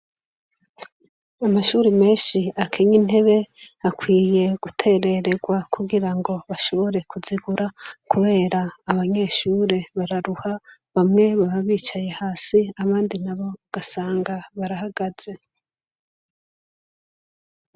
amashuri menshi akenye intebe akwiye guterererwa kugira ngo bashobore kuzigura kubera abanyeshuri bararuha, bamwe baba bicaye hasi abandi nabo ugasanga barahagaze.